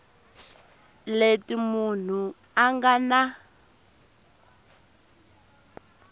leti munhu a nga na